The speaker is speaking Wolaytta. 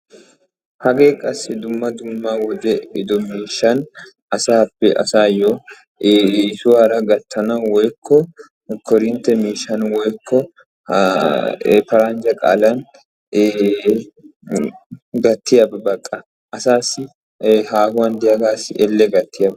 hagee qassi dumma dumma wodee ehido mishsha asaassi haahuwan diyaaba elle gattiyaaba